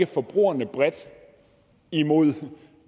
forbrugerne bredt imod